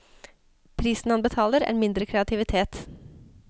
Prisen han betaler, er mindre kreativitet.